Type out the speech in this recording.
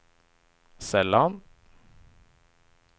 sällan